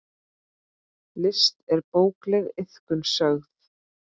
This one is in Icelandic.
List er bókleg iðkun sögð.